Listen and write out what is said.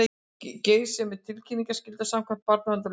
Geirs um tilkynningaskyldu samkvæmt barnaverndarlögum